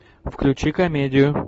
включи комедию